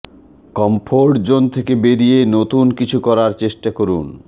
comfort zone থেকে বেরিয়ে নতুন কিছু করার চেষ্টা করুন